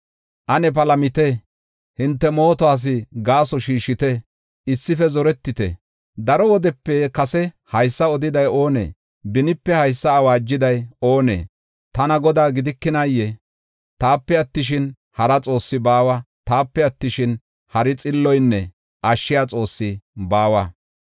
Ane palamit; hinte mootuwas gaaso shiishite; issife zoretite. Daro wodepe kase haysa odiday oonee? Benipe haysa awaajiday oonee? Tana Godaa gidikinaayee? Taape attishin, hara Xoossi baawa. Taape attishin, hari xilloynne ashshiya Xoossi baawa.